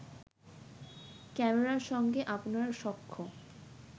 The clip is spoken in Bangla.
ক্যামেরার সঙ্গে আপনার সখ্য